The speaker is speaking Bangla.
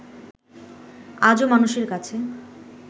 আজও মানুষের কাছে